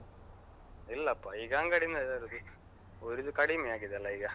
ಇಲ್ಲಪ್ಪ ಈಗ ಅಂಗಡಿಯಿಂದ ತರುದು. ಊರಿದ್ದು ಕಡಿಮೆ ಆಗಿದೆ ಅಲ್ಲ ಈಗ.